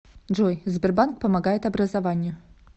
джой сбербанк помогает образованию